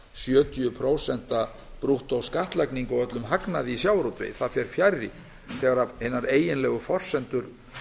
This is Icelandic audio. sjötíu prósent brúttóskattlagningu á öllum hagnaði í sjávarútvegi því fer fjarri þegar hinar eiginlegu forsendur